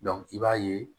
i b'a ye